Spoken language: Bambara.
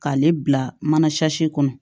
K'ale bila mana kɔnɔ